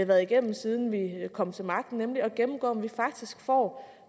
været igennem siden vi kom til magten at gennemgå om vi faktisk får